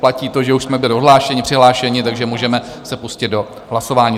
Platí to, že už jsme byli odhlášeni, přihlášeni, takže můžeme se pustit do hlasování